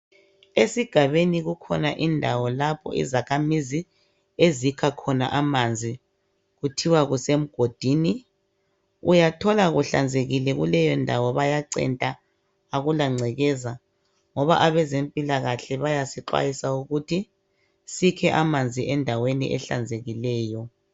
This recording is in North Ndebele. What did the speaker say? Esigabeni kukhona indawo lapho izakhamizi ezikha khona amanzi kuthiwa kusemgodini. Uyathola kuhlanzekile kuleyondawo bayacenta, akulangcekeza ngoba abezempilakahle bayasixwayisa ukuthi sikhe amanzi endaweni ehlanzekileyo